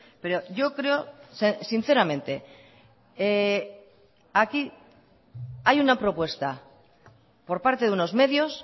pero yo creo sinceramente aquí hay una propuesta por parte de unos medios